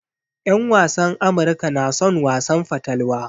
En wasan Amirka na son wasan fatalwa.